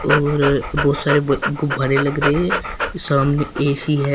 और बहुत सारे गुब्बारे लग रहे है सामने ए_सी है।